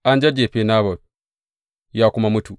An jajjefe Nabot, ya kuma mutu.